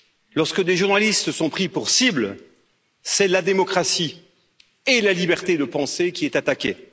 Lorsque des journalistes sont pris pour cible, c'est la démocratie et la liberté de pensée qui sont attaquées.